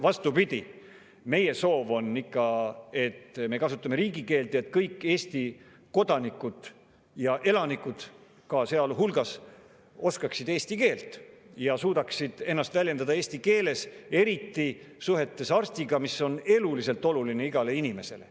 Vastupidi, meie soov on ikka, et me kasutame riigikeelt, et kõik Eesti kodanikud ja ka elanikud oskaksid eesti keelt ja suudaksid ennast väljendada eesti keeles, eriti suheldes arstiga, mis on eluliselt oluline igale inimesele.